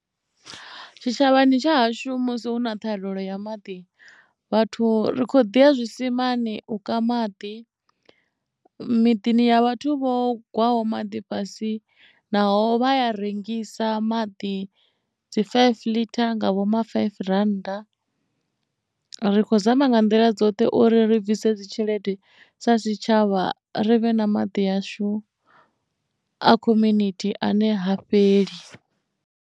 Tshitshavhani tsha hashu musi hu na ṱhahalelo ya maḓi vhathu ri kho ḓi ya zwisimani u kana maḓi miḓini ya vhathu vho gwaho maḓi fhasi naho vha ya rengisa maḓi dzi five ḽitha nga vho ma five rand ri kho zama nga nḓila dzoṱhe uri ri bvise dzi tshelede sa tshitshavha ri vhe na maḓi ashu a community ane ha fheli.